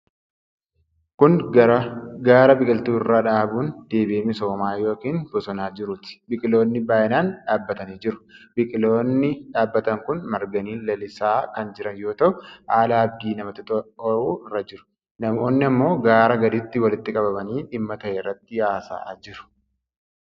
Kun gaara biqiltuu irra dhaabuun deebi'ee misoomaa yookin bosonoomaa jiruut. Biqiloonni baay'inaan dhaabatanii jiru. biqiloonni dhaabatan kun marganii lalisaa kan jiran yoo ta'u haala abdii namatti horu irra jiru. Namoonni ammoo gara gadiitti walitti qabamanii dhimma ta'e irratti haasa'aa jiru.